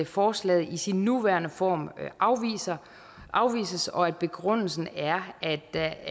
forslaget i sin nuværende form afvises og begrundelsen er at der